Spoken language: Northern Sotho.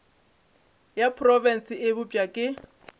ya profense e bopša ke